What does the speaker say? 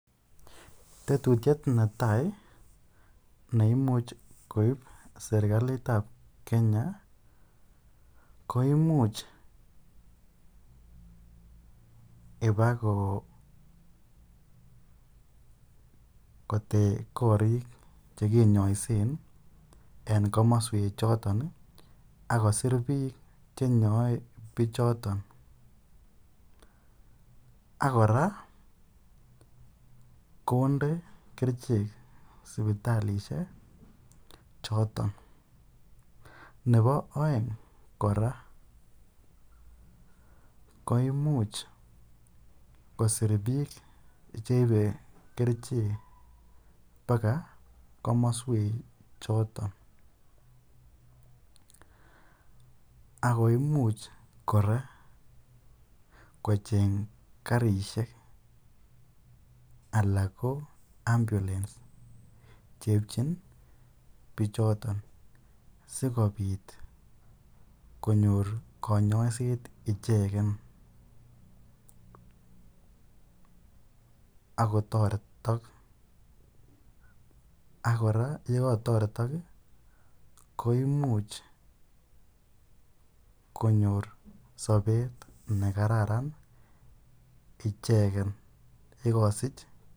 Tetutiet netaai neimuch koib serikalitab Kenya ko imuch ibakotech korik chekinyoisen en komoswe choton ak kosir biik chenyoe bichoton ak kora konde kerichek sipitalishek choton, nebo oeng kora koimuch kosir biik cheibe kerichek bakaa komoswek choton ak ko imuch kora kocheng karishek alaa ko ambulence cheipchin bichoton sikobit konyor konyoiset icheken ak kotoretok akkora yekotoretok ko imuch konyor sobet nekararan icheken yekosich.